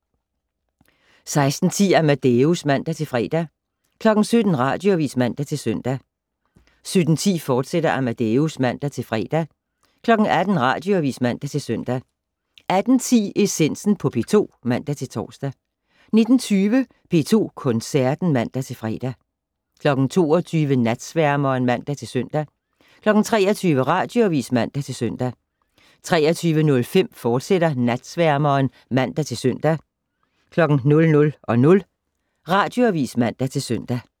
16:10: Amadeus (man-fre) 17:00: Radioavis (man-søn) 17:10: Amadeus, fortsat (man-fre) 18:00: Radioavis (man-søn) 18:10: Essensen på P2 (man-tor) 19:20: P2 Koncerten (man-fre) 22:00: Natsværmeren (man-søn) 23:00: Radioavis (man-søn) 23:05: Natsværmeren, fortsat (man-søn) 00:00: Radioavis (man-søn)